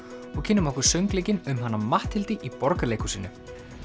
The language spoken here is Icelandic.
og kynnum okkur söngleikinn um hana Matthildi í Borgarleikhúsinu